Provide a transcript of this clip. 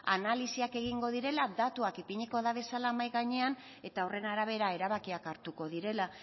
analisiak egingo direla datuak ipiniko dituztela mahai gainean eta horren arabera erabakian hartuko direla